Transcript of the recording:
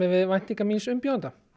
við væntingar míns umbjóðanda